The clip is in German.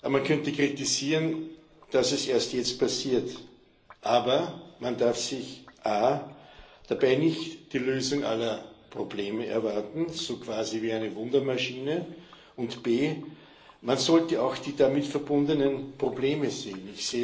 Man könnte kritisieren, dass das erst jetzt passiert. Aber man darf sich a dabei nicht die Lösung aller Probleme erwarten, quasi wie bei einer Wundermaschine, und b Man sollte auch die damit verbundenen Probleme sehen.